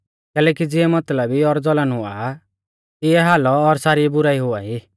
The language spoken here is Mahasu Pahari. कैलैकि ज़िऐ मतलबी और जलन हुआ आ तिऐ हालौ और सारी बुराई हुआई